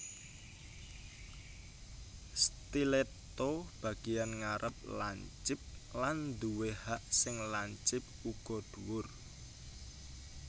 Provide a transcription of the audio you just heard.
Stiletto Bagian ngarep lancip lan duwé hak sing lancip uga dhuwur